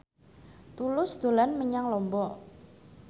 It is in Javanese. Tulus dolan menyang Lombok